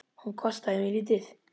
Hún kostaði mig lítið.